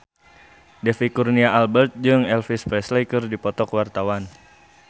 David Kurnia Albert jeung Elvis Presley keur dipoto ku wartawan